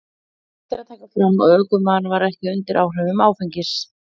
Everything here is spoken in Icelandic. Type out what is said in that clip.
Rétt er að taka fram að ökumaðurinn var ekki undir áhrifum áfengis.